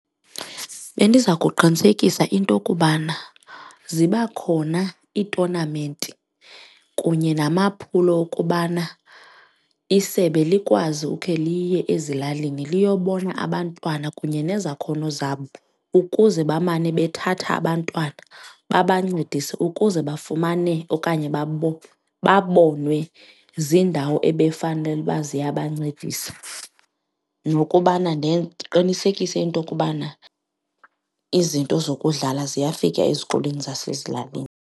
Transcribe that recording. Bendiza kuqinisekisa into kubana ziba khona iitonamenti kunye namaphulo okubana isebe likwazi ukhe liye ezilalini liyobona abantwana kunye nezakhono zabo ukuze bamane bethatha abantwana babancedise ukuze bafumane okanye babonwe ziindawo ebefanele uba ziyabancedisa nokubana ndiqinisekise into okubana izinto zokudlala ziyafika ezikolweni zasezilalini.